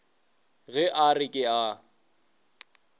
ge a re ke a